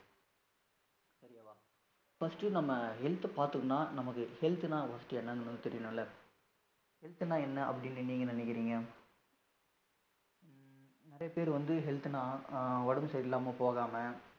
First நம்ம health பார்த்தோம்னா, நமக்கு health ன்னா, first என்னன்னு நமக்கு தெரியணும்ல. health ன்னா என்ன அப்படின்னு நீங்க நினைக்கிறீங்க? ஹம் நிறைய பேர் வந்து, health ன்னா, ஆஹ் உடம்பு சரியில்லாம போகாம.